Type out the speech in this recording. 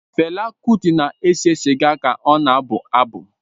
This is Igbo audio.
Fela Kuti na-ese sịga ka ọ na-abụ abụ.